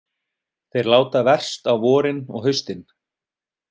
Þeir láta verst á vorin og haustin.